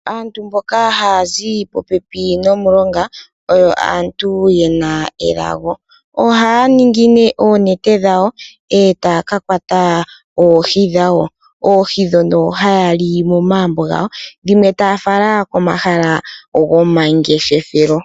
Aantu mboka ha yazi popepi nomulonga, oyo aantu yena elago. Ohaya ningi oonete dhawo eta yaka kwata oohi dhawo. Oohi dhoka ohaya li momagumbo gawo, dhimwe taya fala komahala gomangeshefelo.